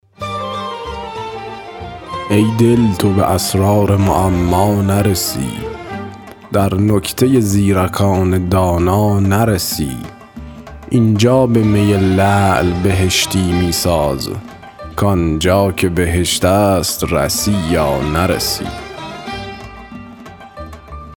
ای دل تو به اسرار معما نرسی در نکته زیرکان دانا نرسی اینجا به می لعل بهشتی می ساز کانجا که بهشت است رسی یا نرسی